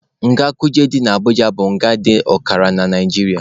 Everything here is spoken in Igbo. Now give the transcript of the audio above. Nga Kuje dị na Abuja bụ nga dị ọkara na Naijiria.